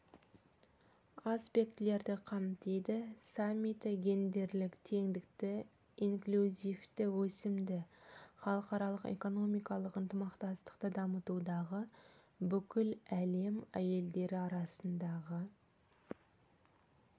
аспектілерді қамтиды саммиті гендерлік теңдікті инклюзивті өсімді халықаралық экономикалық ынтымақтастықты дамытудағы бүкіл әлем әйелдері арасындағы